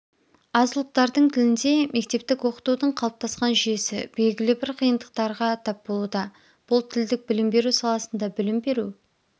аз ұлттардың тілінде мектептік оқытудың қалыптасқан жүйесі белгілі бір қиындықтарға тап болуда бұл тілдік білім беру саласында білім беру